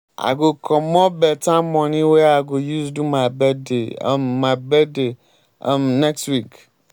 i go comot beta moni wey i go use do my birthday um my birthday um next week.